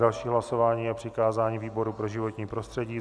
Další hlasování je přikázání výboru pro životní prostředí.